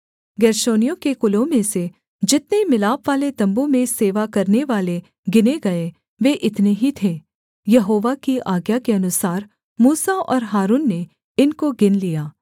गेर्शोनियों के कुलों में से जितने मिलापवाले तम्बू में सेवा करनेवाले गिने गए वे इतने ही थे यहोवा की आज्ञा के अनुसार मूसा और हारून ने इनको गिन लिया